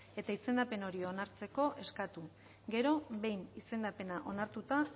eta izendapen hori onartzeko eskatu gero behin izendapena onartuta